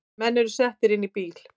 Menn eru settir inn í bíl